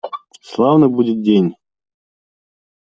славный будет день